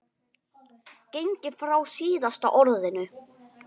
gengið frá SÍÐASTA ORÐINU.